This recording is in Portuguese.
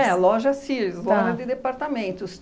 É, a loja Sears, loja de departamentos.